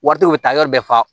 Wari te u bi taa yɔrɔ bɛɛ fa